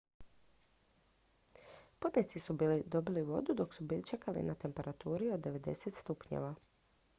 putnici su dobili vodu dok su čekali na temperaturi od 90 °f